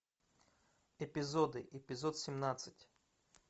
эпизоды эпизод семнадцать